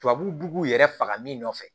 Tubabuw yɛrɛ faga min nɔfɛ